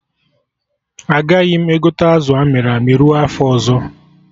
Agaghị m egote azụ amịrị amị ruo afọ ọzọ